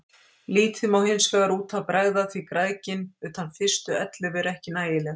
Lítið má hinsvegar út af bregða því gæðin utan fyrstu ellefu eru ekki nægileg.